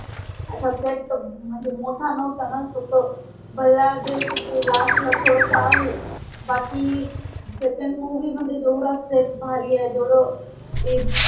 अच्छा set त म्हणजे मोठा नोहता णा फक्त भल्लादेवच ते last थोडस आहे बाकी second movie मध्ये जेवढा set भारी आहे जेवड ते